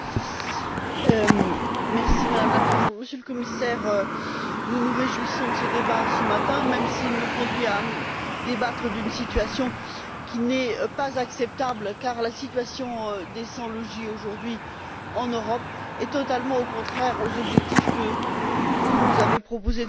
Madame la Présidente, Monsieur le Commissaire, nous nous réjouissons de ce débat ce matin même s'il nous conduit à débattre d'une situation qui n'est pas acceptable car la situation des sans abri, aujourd'hui en Europe, est totalement contraire aux objectifs que vous nous avez proposé de fixer avec la stratégie Europe